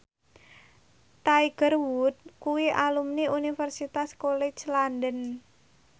Tiger Wood kuwi alumni Universitas College London